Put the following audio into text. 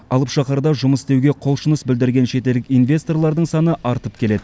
алып шаһарда жұмыс істеуге құлшыныс білдірген шетелдік инвесторлардың саны артып келеді